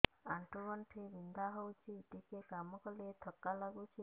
ଆଣ୍ଠୁ ଗଣ୍ଠି ବିନ୍ଧା ହେଉଛି ଟିକେ କାମ କଲେ ଥକ୍କା ଲାଗୁଚି